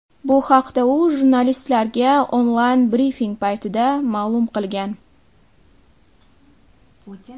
Bu haqda u jurnalistlarga onlayn brifing paytida ma’lum qilgan .